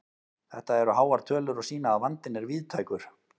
Þetta eru háar tölur og sýna að vandinn er víðtækur.